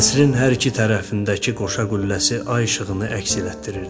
Qəsrin hər iki tərəfindəki qoşa qülləsi ay işığını əks elətdirirdi.